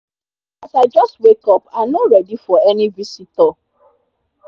as i jus wake up i nor readi for any visitor